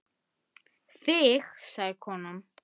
Þig sagði konan.